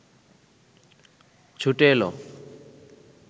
ছুটে এল